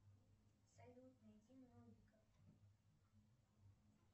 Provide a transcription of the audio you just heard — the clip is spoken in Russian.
салют найди нолика